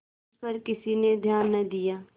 इस पर किसी ने ध्यान न दिया